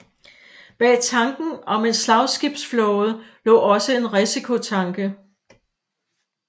Bag tanken om en slagskibsflåde lå også en risikotanke